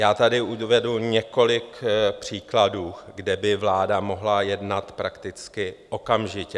Já tady uvedu několik příkladů, kde by vláda mohla jednat prakticky okamžitě.